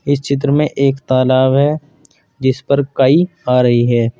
इस चित्र में एक तालाब है जिस पर काई आ रही है।